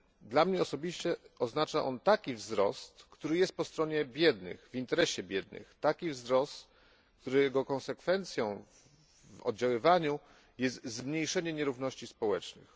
Dla mnie osobiście oznacza ono taki wzrost, który jest po stronie biednych, w interesie biednych, taki wzrost, którego konsekwencją w oddziaływaniu jest zmniejszenie nierówności społecznych.